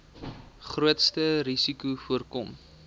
grootste risikos voorkom